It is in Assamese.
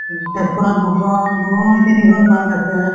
তেজপুৰত দুখন দুই তিনিখন park আছে ।